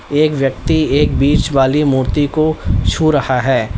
एक व्यक्ति एक बीच वाली मूर्ति को छू रहा है।